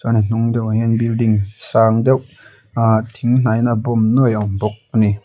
chuan a hnung deuh ah hian in building sang deuh aah thing hnahin a a bawm nuaih a awm bawk a ni.